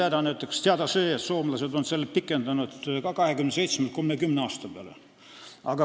Meile on näiteks teada see, et soomlased on seda ka pikendanud: 27-lt 30 aasta peale.